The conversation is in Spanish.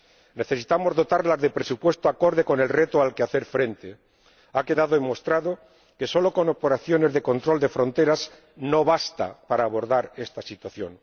Necesitamos dotarlas de presupuestos acordes con el reto al que hacer frente. Ha quedado demostrado que solo con operaciones de control de fronteras no basta para abordar esta situación.